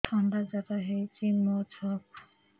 ଥଣ୍ଡା ଜର ହେଇଚି ମୋ ଛୁଆକୁ